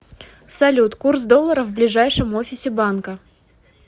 салют курс доллара в ближайшем офисе банка